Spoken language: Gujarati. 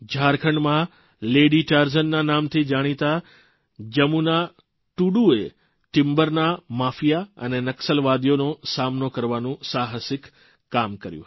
ઝારખંડમાં લેડી ટારઝનના નામથી જાણીતા જમુના ટુડુએ ટીમ્બરના માફીયા અને નકસલવાદીઓનો સામનો કરવાનું સાહસિક કાર્ય કર્યું